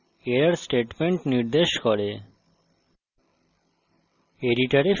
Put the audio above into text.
up arrow error statement নির্দেশ করে